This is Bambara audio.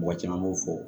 Mɔgɔ caman b'o fɔ